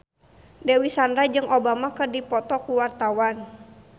Dewi Sandra jeung Obama keur dipoto ku wartawan